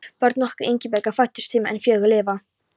Börn okkar Ingibjargar fæddust fimm en fjögur lifa.